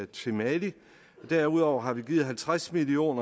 til mali derudover har vi givet halvtreds million